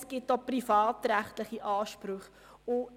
Es gibt auch privatrechtliche Ansprüche.